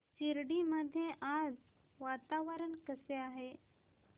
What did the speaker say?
शिर्डी मध्ये आज वातावरण कसे आहे